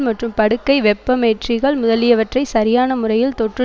மற்றும் படுக்கை வெப்பமேற்றிகள் முதலியவற்றை சரியான முறையில் தொற்று